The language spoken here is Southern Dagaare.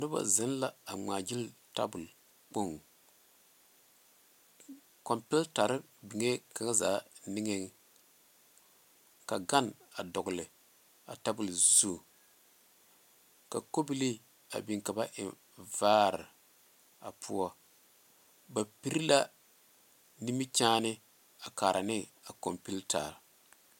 Noba zeŋe la a ŋma gyili tabole kampeetare beŋ la kaŋa zaa niŋe sogo ka gane dɔle a tabole zu ka kɔbiili beŋ ka ba eŋ vare a poɔ ba pere la nimikyene a kare ne a kampeeta.